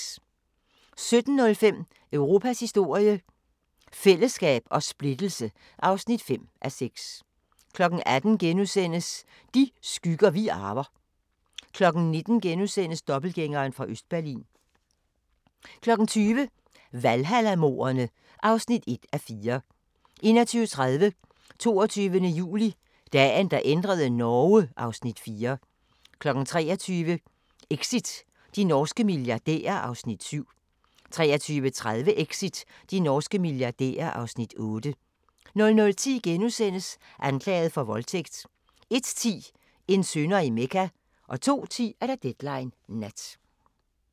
17:05: Europas historie – fællesskab og splittelse (5:6) 18:00: De skygger vi arver * 19:00: Dobbeltgængeren fra Østberlin * 20:00: Valhalla-mordene (1:4) 21:30: 22. juli – Dagen, der ændrede Norge (Afs. 4) 23:00: Exit – de norske milliardærer (Afs. 7) 23:30: Exit – de norske milliardærer (Afs. 8) 00:10: Anklaget for voldtægt * 01:10: En synder i Mecca 02:10: Deadline Nat